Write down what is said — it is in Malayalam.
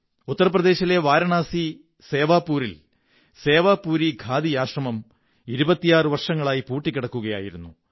ഉത്തർ പ്രദേശിലെ വാരാണസി സേവാപൂരിൽ സേവാപുരി ഖാദി ആശ്രമം 26 വര്ഷരങ്ങളായി പൂട്ടിക്കിടക്കുകയായിരുന്നു